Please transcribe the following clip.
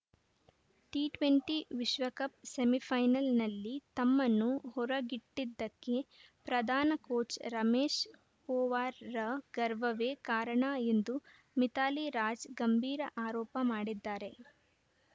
T twenty ವಿಶ್ವಕಪ್‌ ಸೆಮಿಫೈನಲ್‌ನಲ್ಲಿ ತಮ್ಮನ್ನು ಹೊರಗಿಟ್ಟಿದ್ದಕ್ಕೆ ಪ್ರಧಾನ ಕೋಚ್‌ ರಮೇಶ್‌ ಪೊವಾರ್‌ರ ಗರ್ವವೇ ಕಾರಣ ಎಂದು ಮಿಥಾಲಿ ರಾಜ್‌ ಗಂಭೀರ ಆರೋಪ ಮಾಡಿದ್ದಾರೆ